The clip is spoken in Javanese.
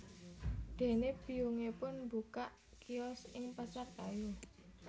Dene biyungipun mbukak kios ing Pasar Kayu